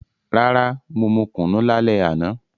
Rara, mo mu kunu lale ana.